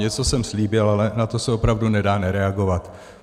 Něco jsem slíbil, ale na to se opravdu nedá nereagovat.